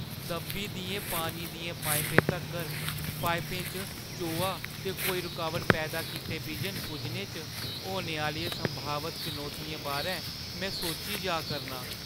दब्बी दियें पानी दियें पाइपें तगर पाइपें च चोआ ते कोई रुकावट पैदा कीते बिजन पुज्जने च होने आह्‌लियें संभावत चनौतियें बारै में सोची जा करनां।